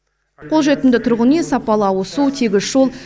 қолжетімді тұрғын үй сапалы ауызсу тегіс жол